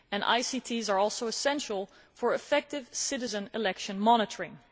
ICTs are also essential for effective citizen election monitoring.